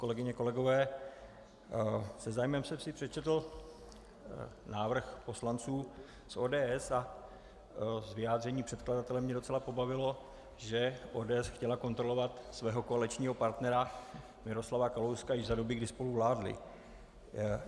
Kolegyně, kolegové, se zájmem jsem si přečetl návrh poslanců z ODS a z vyjádření předkladatele mě docela pobavilo, že ODS chtěla kontrolovat svého koaličního partnera Miroslava Kalouska již za doby, kdy spolu vládli.